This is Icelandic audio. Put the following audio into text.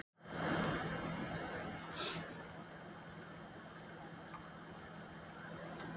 Þórhallur Jósefsson: Og þýðir þetta fjölgun starfa hjá ykkur?